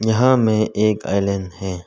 यहां में एक आइलैंड है।